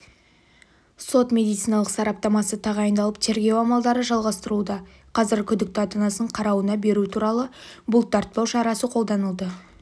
сот-медициналық сараптамасы тағайындалып тергеу амалдары жалғастырылуда қазір күдікті ата-анасының қарауына беру туралы бұлттартпау шарасы қолданылды